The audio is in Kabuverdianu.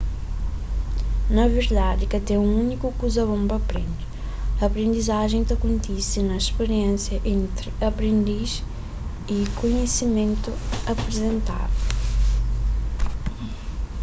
na verdadi ka ten un úniku kuza bon pa prende aprendizajen ta kontise na spiriénsia entri aprendis y kunhisimentu aprizentadu